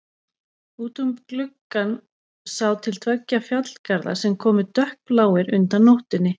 Út um gluggann sá til tveggja fjallgarða sem komu dökkbláir undan nóttunni.